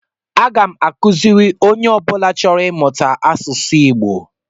Aga m akụziri onye ọ bụla chọrọ ịmụta asụsụ Igbo